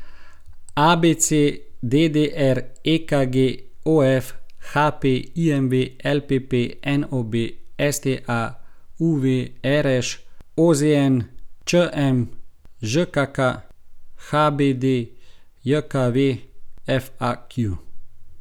ABC, DDR, EKG, OF, HP, IMV, LPP, NOB, STA, UV, RŠ, OZN, ČM, ŽKK, HBDJKV, FAQ.